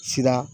Sira